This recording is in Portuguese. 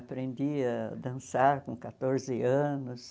Aprendia a dançar com quatorze anos.